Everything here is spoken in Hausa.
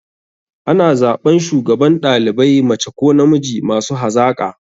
Ana zaɓan shugaban ɗalibai mace ko namiji masu hazaƙa.